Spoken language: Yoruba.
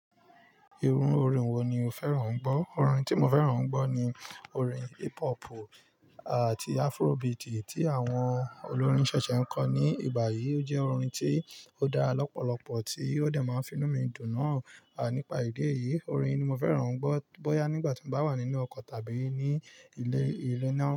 Irú orin wo ni o fẹ́ràn ń gbọ́? Orin tí mo fẹ́ràn ń gbọ́ ni orin hip hop àti afrobeat tí àwọn olórin ṣẹṣẹ ń kọ ní ìgbà yìí, ó jẹ́ orin tí ó dára lọ́pọ̀lọpọ̀ tí ó de máa ń fi inú mi dùn náà. À nípa ìdí èyí, orin ni mo fẹ́ràn ń gbọ́ bóyá nígbà tí mo bá wà nínú ọkọ̀ tàbí ní ilé, ilé náà.